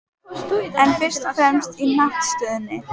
En fyrst og fremst í hnattstöðunni.